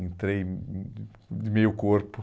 Entrei hum hum de meio corpo.